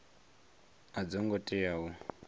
a dzo ngo tea u